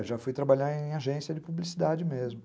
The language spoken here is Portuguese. É, já fui trabalhar em agência de publicidade mesmo.